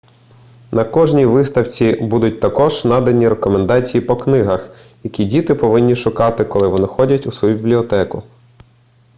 на кожній виставці будуть також надані рекомендації по книгах які діти повинні шукати коли вони ходять у свою бібліотеку